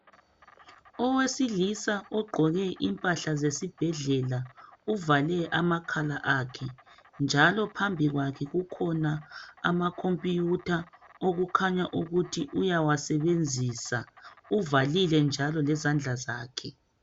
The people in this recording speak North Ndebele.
Owesilisa ogqoke impahla zesibhedlela uvale amakhala akhe njalo phambi kwakhe kukhona amakhompuyutha okukhanya ukuthi uyawasebenzisa uvalile njalo lezandla zakhe.